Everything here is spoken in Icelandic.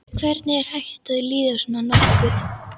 Hvernig er hægt að líða svona nokkuð?